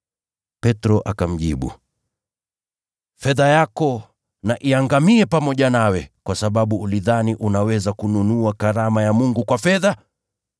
Petro akamjibu, “Fedha yako na iangamie pamoja nawe, kwa sababu ulidhani unaweza kununua karama ya Mungu kwa fedha!